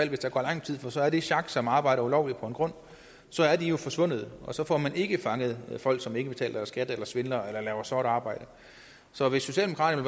hvis der går lang tid for så er det sjak som har arbejdet ulovligt på en grund jo forsvundet og så får man ikke fanget folk som ikke betaler deres skat eller svindler eller laver sort arbejde så hvis socialdemokraterne